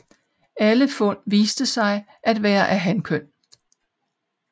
Alle fund viste sig at være af hankøn